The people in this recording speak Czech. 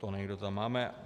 To někde tam máme.